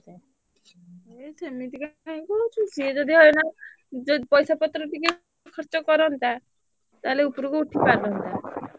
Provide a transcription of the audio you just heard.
ସିଏ ସେମିତି ରେ କଣ କହୁଛୁ ସିଏ ଯଦି ଅଇନା ପଇସା ପତ୍ର ଟିକେ ଖର୍ଚ୍ଚ କରନ୍ତା ତାହେଲେ ଉପରକୁ ଉଠି ପାରନ୍ତା।